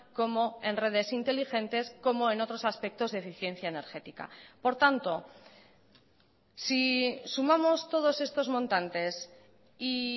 como en redes inteligentes como en otros aspectos de eficiencia energética por tanto si sumamos todos estos montantes y